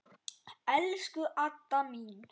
Elsku Adda mín.